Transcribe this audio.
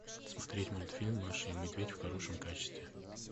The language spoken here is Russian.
смотреть мультфильм маша и медведь в хорошем качестве